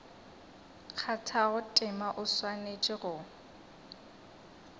kgathago tema o swanetše go